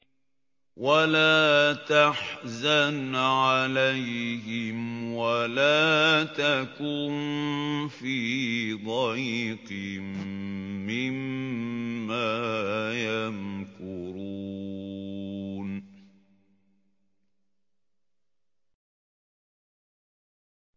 وَلَا تَحْزَنْ عَلَيْهِمْ وَلَا تَكُن فِي ضَيْقٍ مِّمَّا يَمْكُرُونَ